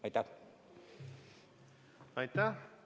Aitäh!